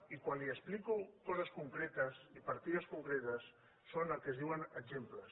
i quan li explico coses concretes i partides concretes són el que se’n diu exemples